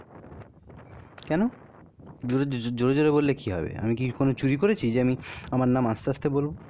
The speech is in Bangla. কেন? জোরে জোরে বললে কি হবে? আমি কি কোন চুরি করেছি যে আমি আমার নাম আস্তে আস্তে বলবো?